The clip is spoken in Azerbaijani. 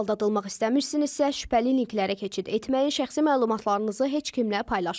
Aldadılmaq istəmirsinizsə, şübhəli linklərə keçid etməyin, şəxsi məlumatlarınızı heç kimlə paylaşmayın.